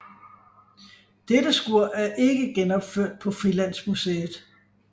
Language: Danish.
Dette skur er ikke genopført på Frilandsmuseet